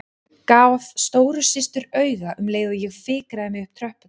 Gaf stóru systur auga um leið og ég fikraði mig upp tröppurnar.